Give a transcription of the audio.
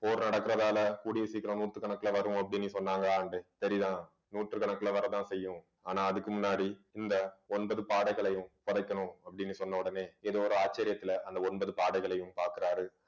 போர் நடக்குறதால கூடிய சீக்கிரம் நூத்துக்கணக்குல வரும் அப்படின்னு சொன்னாங்க ஆண்டே சரிதா நூற்றுக்கணக்குல வரத்தான் செய்யும் ஆனா அதுக்கு முன்னாடி இந்த ஒன்பது பாடைகளையும் புதைக்கணும் அப்படின்னு சொன்ன உடனே ஏதோ ஒரு ஆச்சரியத்துல அந்த ஒன்பது பாடைகளையும் பார்க்கிறாரு